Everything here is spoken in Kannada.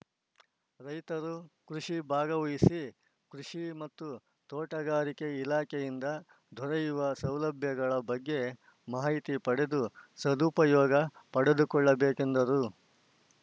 ರೈತರು ಕೃಷಿ ಭಾಗವಹಿಸಿ ಕೃಷಿ ಮತ್ತು ತೋಟಗಾರಿಕೆ ಇಲಾಖೆಯಿಂದ ದೊರೆಯುವ ಸೌಲಭ್ಯಗಳ ಬಗ್ಗೆ ಮಾಹಿತಿ ಪಡೆದು ಸದುಪಯೋಗ ಪಡೆದುಕೊಳ್ಳಬೇಕೆಂದರು